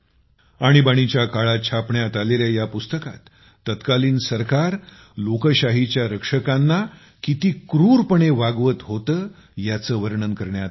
आणीबाणीच्या काळात छापण्यात आलेल्या या पुस्तकात तत्कालीन सरकार लोकशाहीच्या रक्षकांना किती क्रूरपणे वागवत होते याचे वर्णन करण्यात आले आहे